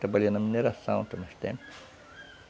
Trabalhei na mineração por uns tempos.